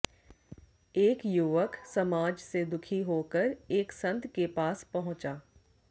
एक युवक समाज से दुखी होकर एक संत के पास पहुंचा